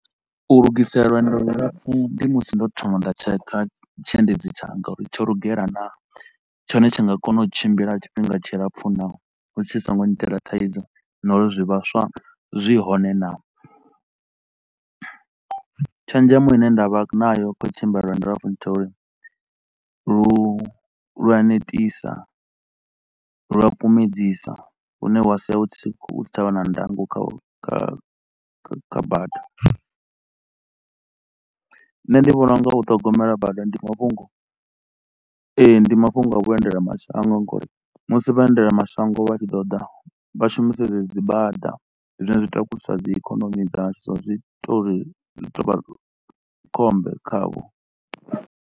U lugisela lwendo lu lapfu ndi musi ndo thoma nda tshekha tshiendedzi tshanga uri tsho lugela naa? Tshone tshi nga kona u tshimbila tshifhinga tshilapfu naa? Hu tshi so ngo nnyitela thaidzo na uri zwivhaswa zwi hone naa? Tshenzhemo ine nda vha nayo khau tshimbila lwendo lwa lu a netisa lu a kumedzisa hune wa sia hu si tsha vha na ndango kha kha kha bada. Nṋe ndi vhona u nga u ṱhogomela bada ndi mafhungo, ee ndi mafhungo a vhuendela mashango ngauri musi vha endela mashango vha tshi ḓo ḓa vha shumisa dzedzi dzi bada zwine zwi takusa dzi ikonomi dzashu so zwi ita uri zwi to u vha khombe khavho.